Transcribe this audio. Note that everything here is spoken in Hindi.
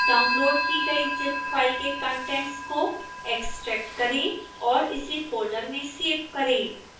डाउनलोड़ की गई zip फाइल के कंटेंट्स को एक्स्ट्रैक्ट करें और इसे फोल्डर में सेव करें